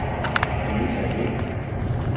Anita Vind